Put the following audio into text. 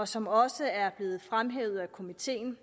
som også er blevet fremhævet af komiteen